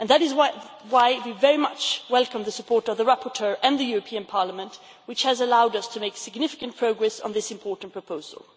That is why we very much welcome the support of the rapporteur and the European Parliament, which has allowed us to make significant progress on this important proposal.